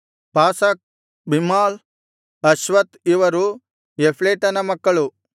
ಪಾಸಕ್ ಬಿಮ್ಹಾಲ್ ಅಶ್ವಾತ್ ಇವರು ಯಫ್ಲೇಟನ ಮಕ್ಕಳು